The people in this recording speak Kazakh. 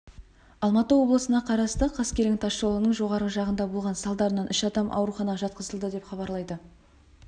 алматы облысына қарасты қаскелең тас жолының жоғарғы жағында болған салдарынан үш адам ауруханаға жатқызылды деп хабарлайды